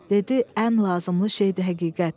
Dedi ən lazımlı şeydir həqiqət.